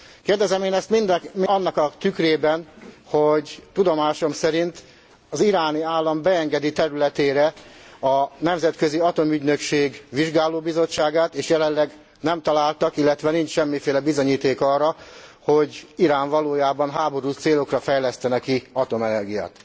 Kérdezem én ezt annak a tükrében, hogy tudomásom szerint az iráni állam beengedi területére a Nemzetközi Atomenergia ügynökség vizsgálóbizottságát, és jelenleg nem találtak, illetve nincs semmiféle bizonyíték arra, hogy Irán valójában háborús célokra fejlesztene ki atomenergiát.